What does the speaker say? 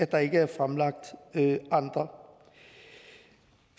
der ikke er fremlagt andre